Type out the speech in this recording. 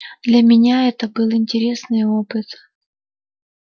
для меня это был интересный опыт